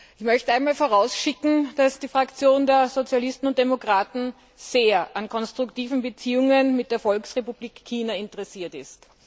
Ich möchte vorausschicken, dass die Fraktion der Sozialisten und Demokraten sehr an konstruktiven Beziehungen mit der Volksrepublik China interessiert ist.